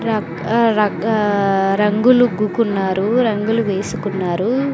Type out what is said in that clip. ర రకా రంగులు ఉగ్గుకున్నారు రంగులు వేసుకున్నారు.